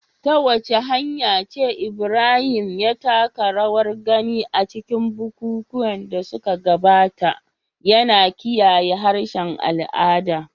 Ta wace hanya ce Ibrahim ya taka rawar gani a cikin bukukuwan da suka gabata, yana kiyaye harshen al'ada?